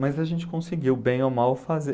Mas a gente conseguiu, bem ou mal, fazer.